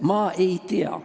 Ma ei tea.